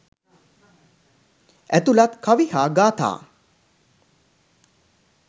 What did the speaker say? ඇතුළත් කවි හා ගාථා